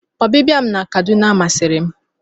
Ọbịbịa m na Kaduna masịri m.